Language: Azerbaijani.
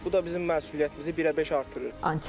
Bu da bizim məsuliyyətimizi birəbeş artırır.